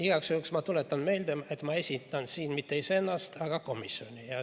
Igaks juhuks tuletan meelde, et ma ei esinda siin mitte iseennast, vaid komisjoni.